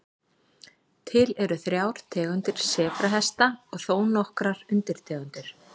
Til eru þrjár tegundir sebrahesta og þó nokkrar undirtegundir.